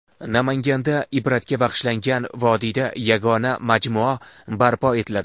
Namanganda Ibratga bag‘ishlangan vodiyda yagona majmua barpo etiladi.